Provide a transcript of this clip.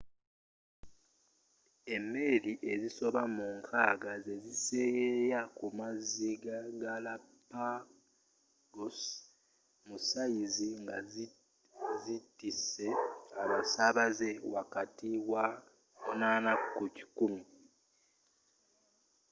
emeeri ezisoba mu 60 zeziseeyeya ku mazzi ga galapagos – mu sayizi ngazitise abasaabaze wakati wa 8 ku 100